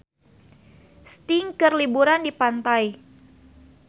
Sting keur liburan di pantai